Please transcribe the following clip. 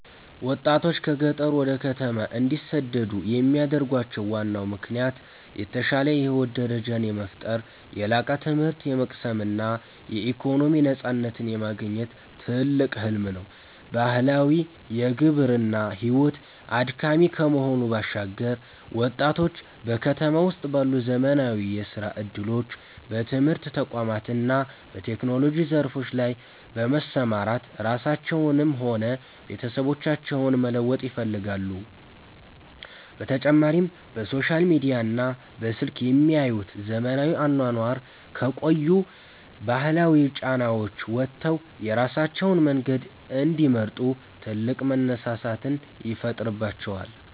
ወጣቶች ከገጠር ወደ ከተማ እንዲሰደዱ የሚያደርጋቸው ዋናው ምክንያት የተሻለ የህይወት ደረጃን የመፍጠር፣ የላቀ ትምህርት የመቅሰም እና የኢኮኖሚ ነፃነትን የማግኘት ትልቅ ህልም ነው። ባህላዊው የግብርና ሕይወት አድካሚ ከመሆኑ ባሻገር፣ ወጣቶች በከተማ ውስጥ ባሉ ዘመናዊ የሥራ ዕድሎች፣ በትምህርት ተቋማት እና በቴክኖሎጂ ዘርፎች ላይ በመሰማራት ራሳቸውንም ሆነ ቤተሰቦቻቸውን መለወጥ ይፈልጋሉ፤ በተጨማሪም በሶሻል ሚዲያና በስልክ የሚያዩት ዘመናዊ አኗኗር ከቆዩ ባህላዊ ጫናዎች ወጥተው የራሳቸውን መንገድ እንዲመርጡ ትልቅ መነሳሳትን ይፈጥርባቸዋል።